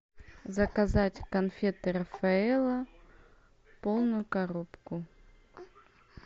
заказать конфеты рафаэлло полную коробку